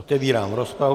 Otevírám rozpravu.